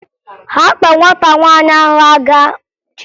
Ha kpọ nwata nwaanyị ahụ aga ụlọ ụmụ enweghi nne